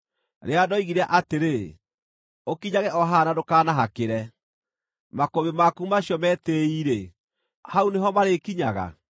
rĩrĩa ndoigire atĩrĩ, ‘Ũkinyage o haha na ndũkanahakĩre; makũmbĩ maku macio metĩĩi-rĩ, hau nĩho marĩĩkinyaga’?